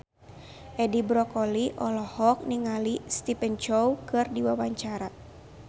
Edi Brokoli olohok ningali Stephen Chow keur diwawancara